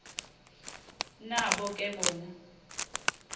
nabo ke bona